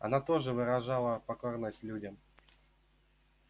она тоже выражала покорность людям